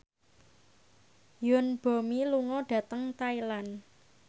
Yoon Bomi lunga dhateng Thailand